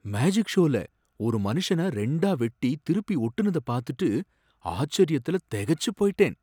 Magic ஷோல ஒரு மனுஷன ரெண்டா வெட்டி திருப்பி ஓட்டுனத பாத்துட்டு ஆச்சரியத்துல தெகச்சு போயிட்டேன்.